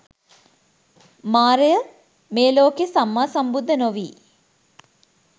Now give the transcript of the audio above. මාරය, මේ ලෝකයේ සම්මා සම්බුද්ධ නොවී